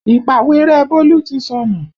Ìpàwérẹ́ Bólú ti sọnù